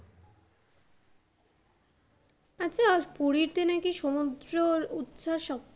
আচ্ছা পুরীতে নাকি সমুদ্রর উচ্ছাস সব,